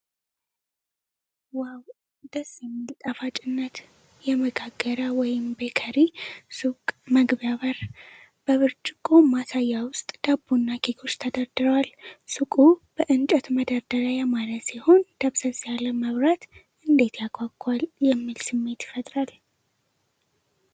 "ዋው! ደስ የሚል ጣፋጭነት!" የመጋገሪያ (ቤከሪ) ሱቅ መግቢያ በር። በብርጭቆ ማሳያ ውስጥ ዳቦ እና ኬኮች ተደርድረዋል። ሱቁ በእንጨት መደርደሪያ ያማረ ሲሆን፣ ደብዘዝ ያለ መብራት "እንዴት ያጓጓል !" የሚል ስሜት ይፈጥራል።